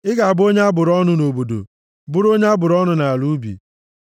Ị ga-abụ onye a bụrụ ọnụ nʼobodo, bụrụ onye a bụrụ ọnụ nʼala ubi,